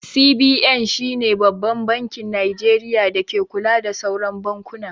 CBN shine Babban bankin Nijeriya da take kula da sauran bankuna